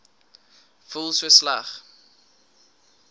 voel so sleg